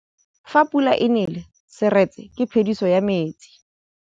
Fa pula e nelê serêtsê ke phêdisô ya metsi.